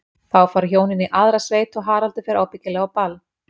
Þá fara hjónin í aðra sveit og Haraldur fer ábyggilega á ball.